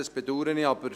Das bedaure ich.